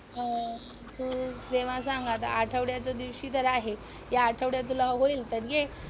अं तू जेव्हा सांग आता आठवड्याच्या दिवशी तर आहे, या आठवड्यात तुला होईल तर ये.